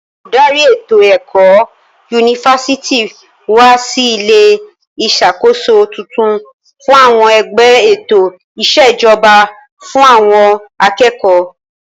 Olùdarí ètò ẹ̀kọ́ yunifásítì wa sí ilé ìṣàkóso tuntun fún àwọn ẹgbẹ́ ètò ìṣèjọba fún àwọn akẹ́kọ̀ọ́.